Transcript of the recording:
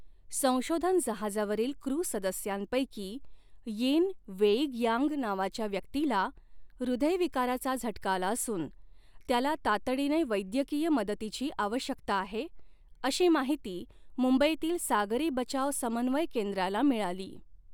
संशोधन जहाजावरील क्रू सदस्यांपैकी यिन वेईगयांग नावाच्या व्यक्तीला हृदयविकाराचा झटका आला असून त्याला तातडीने वैद्यकीय मदतीची आवश्यकता आहे, अशी माहिती मुंबईतील सागरी बचाव समन्वय केंद्राला मिळाली.